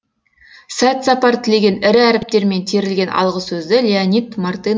сәт сапар тілеген ірі әріптермен терілген алғысөзді леонид мартын